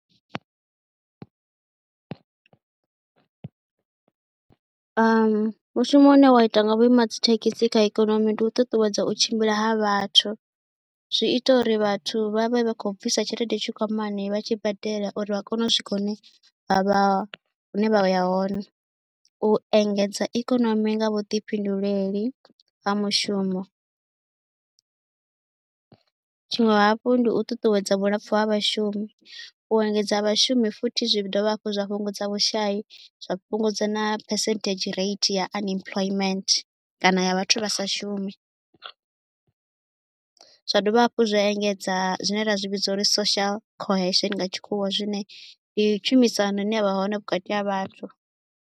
Mushumo une wa itwa nga vhuimadzithekhisi kha ikonomi ndi u ṱuṱuwedza u tshimbila ha vhathu, zwi ita uri vhathu vha vhe vha khou bvisa tshelede tshikwamani vha tshi badela uri vha kone u swika hune vha vha vha ya hone, u engedza ikonomi nga vhuḓifhinduleli ha mushumo. Tshiṅwe hafhu ndi u ṱuṱuwedza vhulapfhu ha vhashumi, u engedza vhashumi futhi zwi dovha hafhu zwa fhungudza vhushai, zwa fhungudza na phesenthedzhi rate ya unemployment kana ya vhathu vha sa shumi. Zwa dovha hafhu zwa engedza zwine ra zwi vhidza uri ndi social cohesion nga tshikhuwa, zwine ndi tshumisano ine ya vha hone vhukati ha vhathu.